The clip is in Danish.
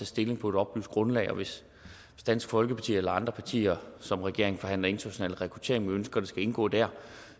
stilling på et oplyst grundlag og hvis dansk folkeparti eller andre partier som regeringen forhandler international rekruttering med ønsker at det skal indgå der